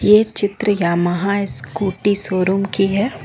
ये चित्र Yamaha scooty showroom की है।